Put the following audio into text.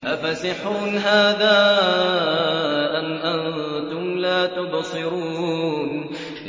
أَفَسِحْرٌ هَٰذَا أَمْ أَنتُمْ لَا تُبْصِرُونَ